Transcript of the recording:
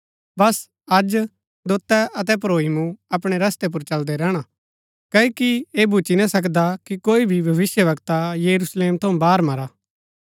बस अज दोतै अतै प्रोई मूँ अपणै रस्तै पुर चलदै रैहणा क्ओकि ऐह भुच्‍ची ना सकदा कि कोई भी भविष्‍यवक्ता यरुशलेम थऊँ बाहर मरा